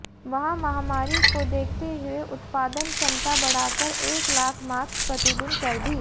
वहीं महामारी को देखते हुए उत्पादन क्षमता बढ़ाकर एक लाख मास्क प्रतिदिन कर दी